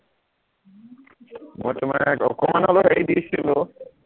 মই তোমাক অকমান হলেও হেৰি দিছিলো